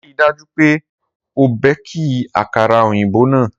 Rii daju pe o beki akara oyinbo naa!